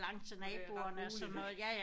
Hvor det er der er roligt